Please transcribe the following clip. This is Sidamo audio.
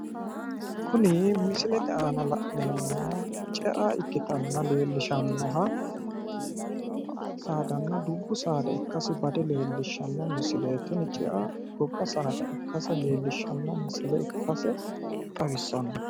Kuni misilete aana la'neemmohu cea ikkittanna leelishanoha mininna dubbu saada ikkasi bade leellishano, tini cea gobba saada ikkase leellishano misile xawisano